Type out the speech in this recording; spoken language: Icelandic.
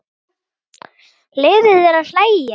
Leyfðu þér að hlæja.